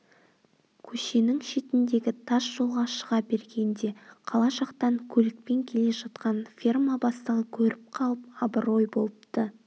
көшенің шетіндегі тас жолға шыға бергенде қала жақтан көлікпен келе жатқан ферма бастығы көріп қалып абырой болыпты